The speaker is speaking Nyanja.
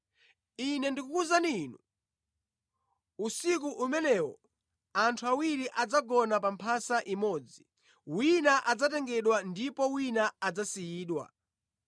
Ine ndikukuwuzani inu, usiku umenewo anthu awiri adzagona pa mphasa imodzi; wina adzatengedwa ndipo wina adzasiyidwa.